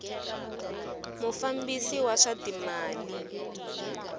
mufambisi wa swa timali wa